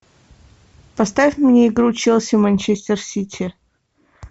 поставь мне игру челси манчестер сити